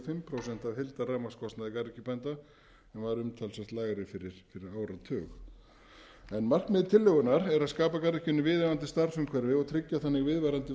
og fimm prósent af heildarrafmagnskostnaði garðyrkjubænda en var umtalsvert lægri fyrir áratug markmið tillögunnar er að skapa garðyrkjunni viðunandi starfsumhverfi og tryggja þannig viðvarandi